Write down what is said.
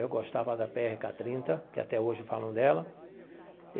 Eu gostava da pê erre cá trinta, que até hoje falam dela.